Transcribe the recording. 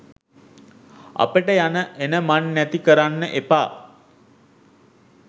අපට යන එන මන් නැති කරන්න එපා.